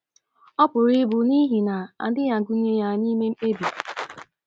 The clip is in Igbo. Ọ pụrụ ịbụ n’ihi na adịghị agụnye ya n’ime mkpebi.